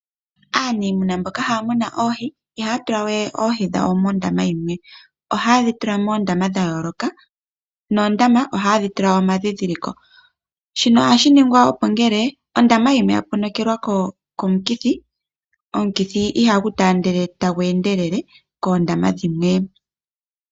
Aanafaalama mboka haya munu oohi ohaye dhi tula moondama dhayooloka noondama ohaye dhi tula omadhidhiliko, shino ohashi ningwa opo ngele ondama yimwe yaponokelwa komukithi, omukithi ihagu taandele tagu endelele koondama dhilwe.